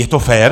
Je to fér?